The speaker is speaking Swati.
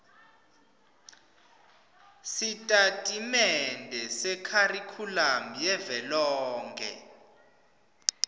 sitatimende sekharikhulamu yavelonkhe